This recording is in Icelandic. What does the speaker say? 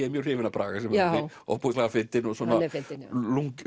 er mjög hrifinn af Braga ofboðslega fyndinn og lunkinn